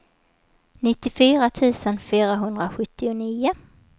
nittiofyra tusen fyrahundrasjuttionio